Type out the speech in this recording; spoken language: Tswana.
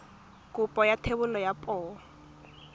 kopo ya thebolo ya poo